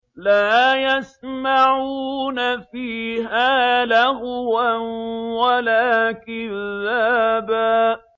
لَّا يَسْمَعُونَ فِيهَا لَغْوًا وَلَا كِذَّابًا